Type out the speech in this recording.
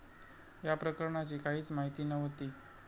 या प्रकरणाची काहीच माहिती नव्हती.